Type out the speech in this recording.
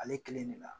Ale kelen de la